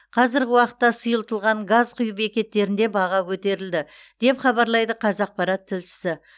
қазіргі уақытта сұйытылған газ құю бекеттерінде баға көтерілді деп хабарлайды қазақпарат тілшісі